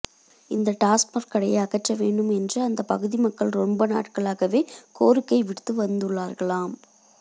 இந்த டாஸ்மாக் கடையை அகற்ற வேண்டும் என்று அந்த பகுதி மக்கள் ரொம்ப நாட்களாகவே கோரிக்கை விடுத்து வந்துள்ளார்களாம்